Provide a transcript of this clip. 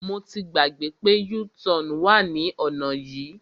Mo ti gbàgbé pé u-turn wà ní ọ̀nà yìí.